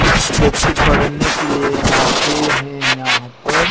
कुछ बच्चे पढ़ने के लिए आते हैं यहाँ पर।